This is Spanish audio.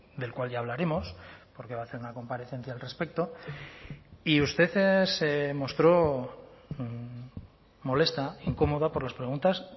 del cual ya hablaremos porque va a hacer una comparecencia al respecto y usted se mostró molesta incómoda por las preguntas